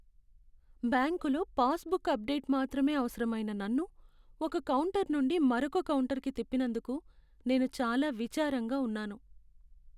బ్యాంకులో passbook update మాత్రమే అవసరమైన నన్ను ఒక కౌంటర్ నుండి మరొక కౌంటర్కు తిప్పినందుకు నేను చాలా విచారంగా ఉన్నను.